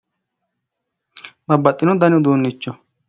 Babbaxino dani uduunicho